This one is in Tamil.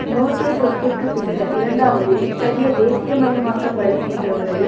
நோர்த்தேர்ன் ரொக்கிற்குப் பின்னர் இரண்டாவது இத்தகைய தேசியமயமாக்கப்படல் என்ற முறையில்